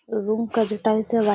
room का जो tiles है वाई --